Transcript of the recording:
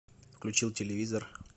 включил телевизор